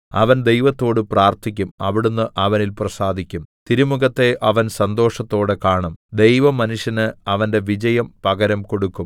അവൻ ദൈവത്തോട് പ്രാർത്ഥിക്കും അവിടുന്ന് അവനിൽ പ്രസാദിക്കും തിരുമുഖത്തെ അവൻ സന്തോഷത്തോടെ കാണും ദൈവം മനുഷ്യന് അവന്റെ വിജയം പകരം കൊടുക്കും